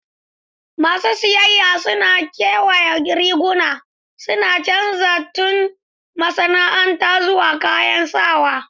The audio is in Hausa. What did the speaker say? Masu siyayya suna kewaya riguna, suna canza tudun masana'anta zuwa kayan sawa.